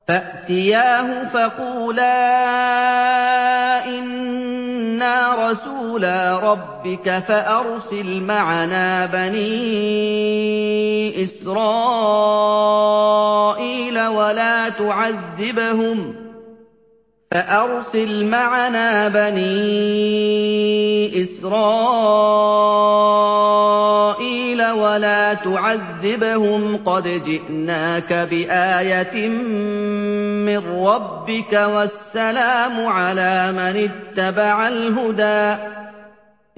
فَأْتِيَاهُ فَقُولَا إِنَّا رَسُولَا رَبِّكَ فَأَرْسِلْ مَعَنَا بَنِي إِسْرَائِيلَ وَلَا تُعَذِّبْهُمْ ۖ قَدْ جِئْنَاكَ بِآيَةٍ مِّن رَّبِّكَ ۖ وَالسَّلَامُ عَلَىٰ مَنِ اتَّبَعَ الْهُدَىٰ